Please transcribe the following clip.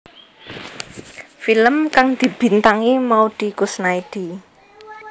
Film kang dibintangi Maudy Koesnaedi